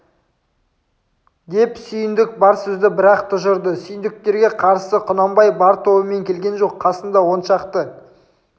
деп сүйіндік бар сөзді бір-ақ тұжырды сүйіндіктерге қарсы құнанбай бар тобымен келген жоқ қасында он шақты